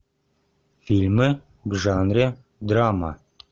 фильмы в жанре драма